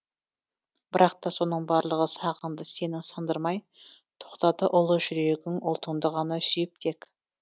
бірақ та соның барлығы сағыңды сенің сындырмай тоқтады ұлы жүрегің ұлтыңды ғана сүйіп тек